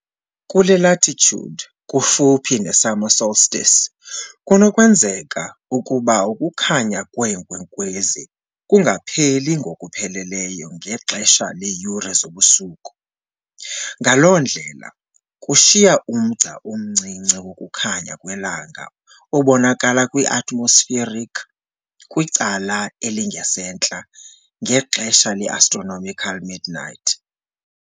Kule latitude, kufuphi ne-summer solstice, kunokwenzeka ukuba ukukhanya kweenkwenkwezi kungapheli ngokupheleleyo ngexesha leeyure zobusuku, ngaloo ndlela kushiya umgca omncinci wokukhanya kwelanga obonakala kwi-atmospheric kwicala elingasentla, ngexesha le-astronomical midnight.